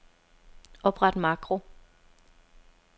Opret makro.